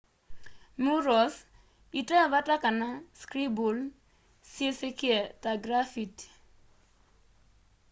murals ite vata kana scribble syisikie ta grafiti